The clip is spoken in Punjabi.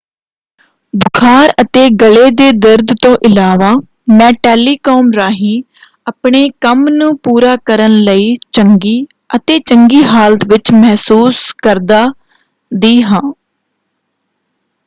"ਬੁਖਾਰ ਅਤੇ ਗਲੇ ਦੇ ਦਰਦ ਤੋਂ ਇਲਾਵਾ ਮੈਂ ਟੈਲੀਕਾਮ ਰਾਹੀਂ ਆਪਣੇ ਕੰਮ ਨੂੰ ਪੂਰਾ ਕਰਨ ਲਈ ਚੰਗੀ ਅਤੇ ਚੰਗੀ ਹਾਲਤ ਵਿੱਚ ਮਹਿਸੂਸ ਕਰਦਾ/ਦੀ ਹਾਂ।